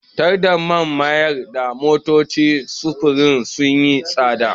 Tsadar man ta mayar da motocin sufurin sun yi tsada.